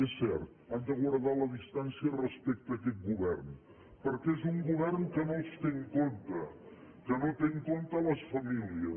és cert han de guardar la distància respecte a aquest govern perquè és un govern que no els té en compte que no té en compte les famílies